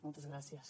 moltes gràcies